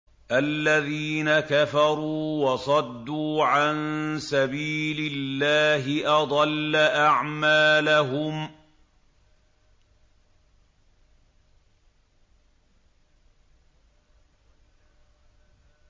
الَّذِينَ كَفَرُوا وَصَدُّوا عَن سَبِيلِ اللَّهِ أَضَلَّ أَعْمَالَهُمْ